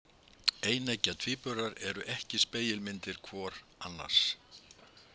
Eineggja tvíburar eru ekki spegilmyndir hvor annars.